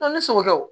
ne sɔgɔ kɛ wo